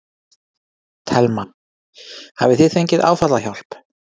Telma: Hafið þið fengið áfallahjálp?